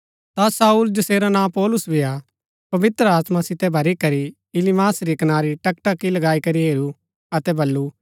ता शाऊल जैसेरा नां पौलुस भी हा पवित्र आत्मा सितै भरी करी इलीमास री कनारी टकटकी लगाई करी हेरू अतै बल्लू